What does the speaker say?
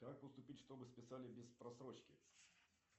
как поступить чтобы списали без просрочки